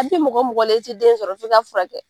A bi mɔgɔ mɔgɔ la, i ti den sɔrɔ f'i ka furakɛ.